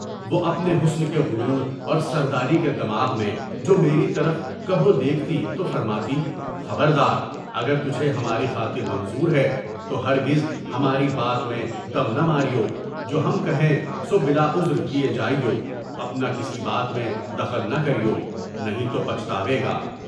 وہ اپنے حسن کے غرور اور سرداری کے دماغ میں جو میری طرف کبھی دیکھتی تو فرماتی، خبردار! اگر تجھے ہماری خاطر منظور ہیں تو ہرگز ہماری بات میں دم نہ ماریو، جو ہم کہیں سو بلاعذر کیے جائیو، اُن کی کسی بات میں دخل نہ کرو، نہیں تو پچتاوے گا۔